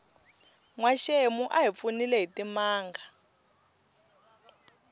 nwaxemu a hi pfunile hitimanga